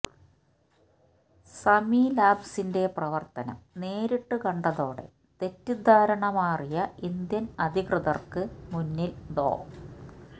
സമി ലാബ്സിന്റെ പ്രവർത്തനം നേരിട്ടു കണ്ടതോടെ തെറ്റിദ്ധാരണ മാറിയ ഇന്ത്യൻ അധികൃതർക്ക് മുന്നിൽ ഡോ